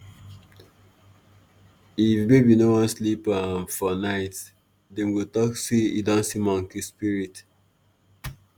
if baby no wan sleep um for night dem go talk say e don see monkey spirit.